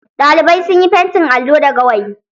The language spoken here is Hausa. Ɗalibai sun yi fentin allo da gawayi.